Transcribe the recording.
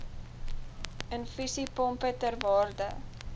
infusiepompe ter waarde